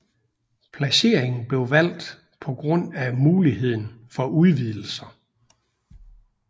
Placeringen blev valgt på grund af muligheden for udvidelser